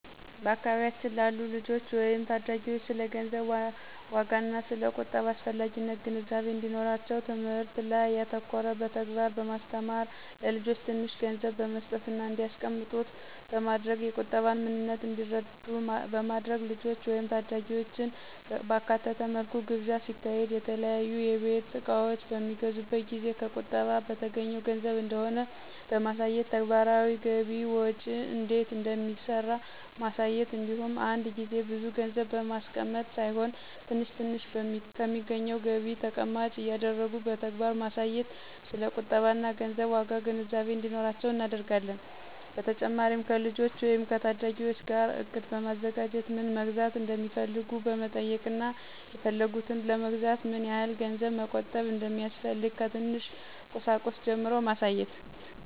በአካባቢያችን ላሉ ልጆች ወይም ታዳጊዎች ስለ ገንዘብ ዋጋና ስለ ቁጠባ አስፈላጊነት ግንዛቤ እንዲኖራቸው ትምህርት ላይ ያተኮረ በተግባር በማስተማር(ለልጆች ትንሽ ገንዘብ በመስጠትና እንዲያስቀምጡት በማድረግ የቁጠባን ምንነት እንዲረዱ በማድረግ)፣ ልጆችን ወይም ታዳጊዎችን ባካተተ መልኩ ግብዣ ሲካሄድ፣ የተለያዩ የቤት እቃዎች በሚገዙበት ጊዜ ከቁጠባ በተገኘው ገንዘብ እንደሆነ በማሳየት፣ ተግባራዊ ገቢ ወጪ እንዴት እንደሚሰራ ማሳየት እንዲሁም አንድ ጊዜ ብዙ ገንዘብ ማስቀመጥ ሳይሆን ትንሽ ትንሽ ከሚገኘው ገቢ ተቀማጭ እያደረጉ በተግባር በማሳየት ስለ ቁጠባና ገንዘብ ዋጋ ግንዛቤ እንዲኖራቸው እናደርጋለን። በተጨማሪም ከልጆች ወይም ከታዳጊዎች ጋር እቅድ በማዘጋጀት ምን መግዛት እንደሚፈልጉ በመጠየቅና የፈለጉትን ለመግዛት ምን ያህል ገንዘብ መቆጠብ እንደሚያስፈልግ ከትንሽ ቁሳቁስ ጀምሮ ማሳየት።